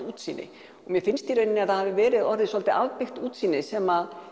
útsýni og mér finnst í raun að það hafi verið orðið svolítið útsýni sem